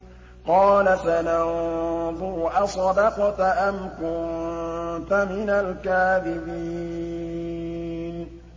۞ قَالَ سَنَنظُرُ أَصَدَقْتَ أَمْ كُنتَ مِنَ الْكَاذِبِينَ